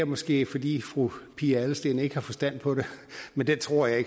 måske fordi fru pia adelsteen ikke har forstand på det men det tror jeg